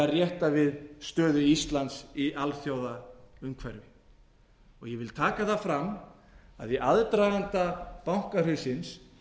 rétta við stöðu íslands í alþjóðlegu umhverfi ég vil taka það fram að í aðdraganda bankahrunsins